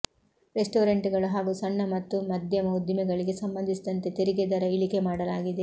restaurant ಗಳು ಹಾಗೂ ಸಣ್ಣ ಮತ್ತು ಮಧ್ಯಮ ಉದ್ದಿಮೆಗಳಿಗೆ ಸಂಬಂಧಿಸಿದಂತೆ ತೆರಿಗೆ ದರ ಇಳಿಕೆ ಮಾಡಲಾಗಿದೆ